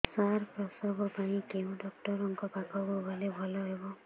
ସାର ପ୍ରସବ ପାଇଁ କେଉଁ ଡକ୍ଟର ଙ୍କ ପାଖକୁ ଗଲେ ଭଲ ହେବ